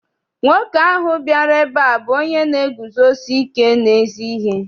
Nwoke ahụ bịara ebe a bụ onye na-eguzosike n'ezi ihe.